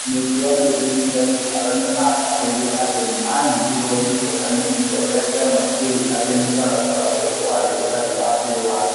Mũtuanĩri cira Kihara nĩ aatarĩirie atĩ nĩ aanyitirũo nĩ kĩeha nĩ itua rĩa kĩama kĩu atĩ mũtaratara ũcio warĩ ũtarĩ wa kĩwatho,